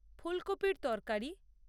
ফুলকপির তরকারি